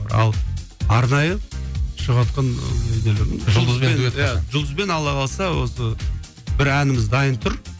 ал арнайы шығыватқан жұлдызбен алла қаласа осы бір әніміз дайын тұр